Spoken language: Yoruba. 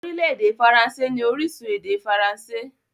Orílẹ̀-èdè faransé ní orísun èdè faransé.